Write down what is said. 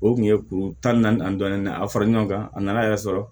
O kun ye kuru tan naani ani dɔɔnin a fara ɲɔgɔn kan a nana yɛrɛ sɔrɔ